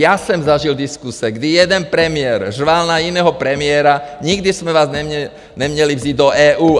Já jsem zažil diskuse, kdy jeden premiér řval na jiného premiéra: Nikdy jsme vás neměli vzít do EU!